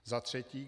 Za třetí.